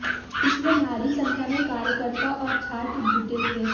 इसमें भारी संख्या में कार्यकर्ता और छात्र जुटे थे